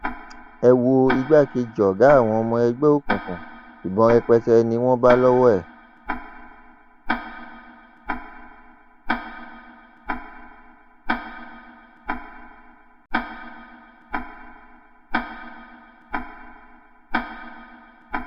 ẹ wo igbákejì ọgá àwọn ọmọ ẹgbẹ òkùnkùn ìbọn rẹpẹtẹ ni wọn bá lọwọ ẹ